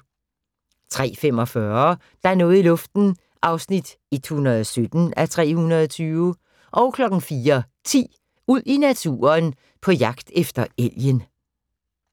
03:45: Der er noget i luften (117:320) 04:10: Ud i naturen: På jagt efter elgen